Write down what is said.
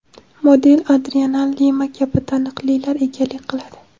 model Adriana Lima kabi taniqlilar egalik qiladi.